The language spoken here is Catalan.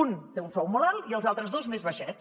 un té un sou molt alt i els altres dos més baixet